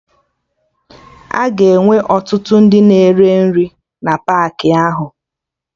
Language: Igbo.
Aga enwe ọtụtụ ndị na-ere nri na paakị ahụ